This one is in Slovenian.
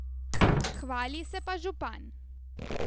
Hvali se pa župan.